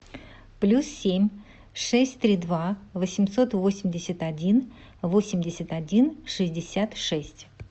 плюс семь шесть три два восемьсот восемьдесят один восемьдесят один шестьдесят шесть